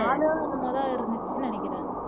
நாலு என்னமோதான் இருந்துச்சுன்னு நினைக்கிறேன்